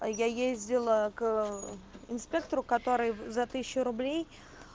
а я ездила к инспектору который за тысячу рублей